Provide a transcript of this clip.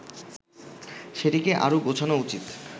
সেটিকে আরো গোছানো উচিত